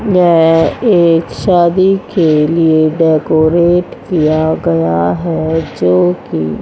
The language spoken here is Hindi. यह एक शादी के लिए डेकोरेट किया गया है जो की--